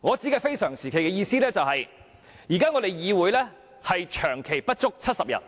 我所說的非常時期，意思是現時議會長期不足70名議員，